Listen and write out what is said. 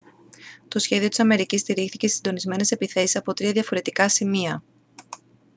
το σχέδιο της αμερικής στηρίχθηκε στις συντονισμένες επιθέσεις από τρία διαφορετικά σημεία